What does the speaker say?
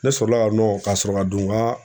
Ne sɔrɔla ka ka sɔrɔ ka don n ka